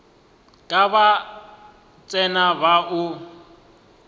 ke ba tsena ba o